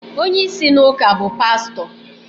onye isi n’ụka bụ pastọ